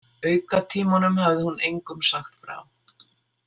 Aukatímunum hafði hún engum sagt frá.